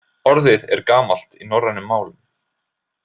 Orðið er gamalt í norrænum málum.